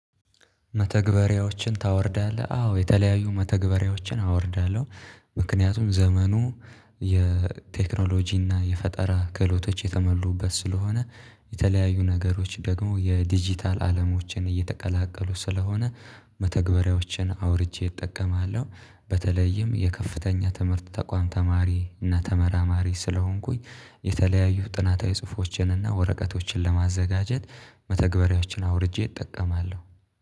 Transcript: መተግበሪያዎችን ታወርዳለህ አዎ የተለያዩ መተግበሪያዎችን አወርዳለሁ። ምክንያቱም ዘመኑ የቴክኖሎጂ እና የፈጠራ ክህሎቶች የተመሉበት ስለሆነ የተለያዩ ነገሮች ደግሞ የዲጂታል አለሞችን እየተቀላቀሉ ስለሆነ መተግበሪያዎችን አውርጄ እጠቀማለሁ። በተለይም የከፍተኛ ትምህርት ተቋም ተማሪ እና ተመራማሪ ስለሆንኩኝ። የተለያዩ ጥናታዊ ጽሁፎችንና ወረቀቶችን ለማዘጋጀት መተግበሪያዎችን አውርጄ እጠቀማለሁ